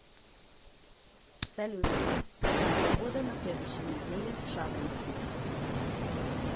салют какая погода на следующей неделе в шадринске